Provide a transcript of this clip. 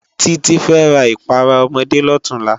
Titi fè rá ipàrá òmòdé lòtúnlá